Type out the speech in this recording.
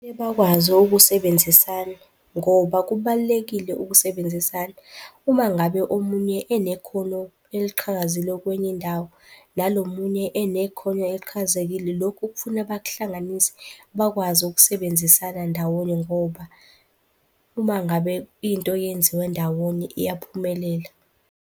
Kumele bakwazi ukusebenzisana ngoba kubalulekile ukusebenzisana. Uma ngabe omunye enekhono eliqhakazile kwenye indawo nalo omunye enekhono eliqhakazekile. Lokhu kufuna bakuhlanganise bakwazi ukusebenzisana ndawonye ngoba uma ngabe into yenziwa ndawonye iyaphumelela.